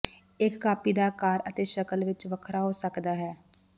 ਇੱਕ ਕਾਪੀ ਦਾ ਆਕਾਰ ਅਤੇ ਸ਼ਕਲ ਵਿੱਚ ਵੱਖਰਾ ਹੋ ਸਕਦਾ ਹੈ